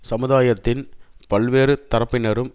சமுதாயத்தின் பல்வேறு தரப்பினரும்